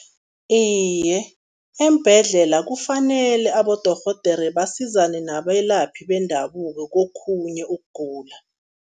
Iye, eembhedlela kufanele abodorhodere basizane nabelaphi bendabuko kokhunye ukugula.